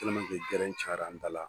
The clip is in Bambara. gɛrɛn cayala an da la